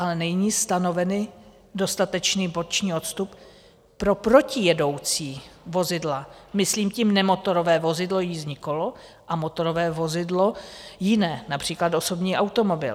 Ale není stanoven dostatečný boční odstup pro protijedoucí vozidla, myslím tím nemotorové vozidlo, jízdní kolo, a motorové vozidlo jiné, například osobní automobil.